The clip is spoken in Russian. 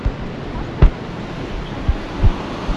ты можешь пожалуйста заказать майонез